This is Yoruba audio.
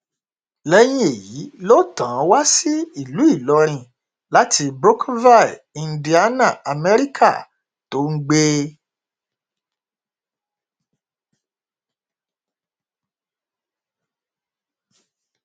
lẹyìn èyí ló tàn án wá sí ìlú ìlọrin láti mbrokerville indiana amẹríkà tó ń gbé